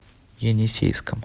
енисейском